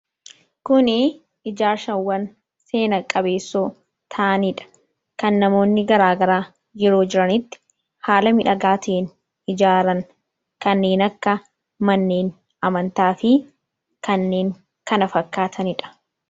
Kun ijaarsawwaan seena qabeessoo ta'anidha. kan namoonni garaagaraa yeroo jiranitti haala miidhagaa ta'een ijaaran, kanneen akka manneen amantaa fi kanneen kana fakkaatanidha.